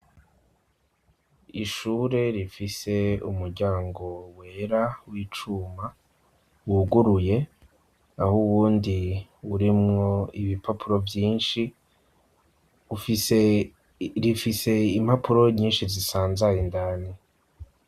Ishure rifise umuryango wera w'icuma wuguruye, aho uwundi urimwo ibipapuro vyinshi, rifise impapuro nyinshi zisanzaye indani.